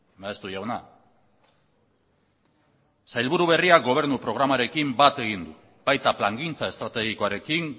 maeztu jauna sailburu berria gobernu programarekin bat egin du baita plangintza estrategikoarekin